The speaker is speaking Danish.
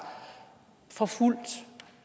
forfulgt